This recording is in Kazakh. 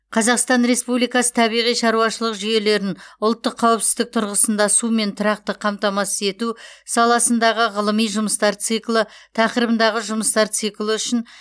қазақстан республикасы табиғи шаруашылық жүйелерін ұлттық қауіпсіздік тұрғысында сумен тұрақты қамтамасыз ету саласындағы ғылыми жұмыстар циклі тақырыбындағы жұмыстар циклі үшін